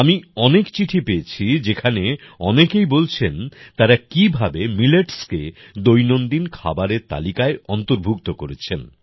আমি অনেক চিঠি পেয়েছি যেখানে অনেকেই বলছেন তারা কিভাবে মিলেটস্কে দৈনন্দিন খাবারের তালিকায় অন্তর্ভুক্ত করেছেন